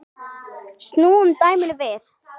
Snúum dæminu við.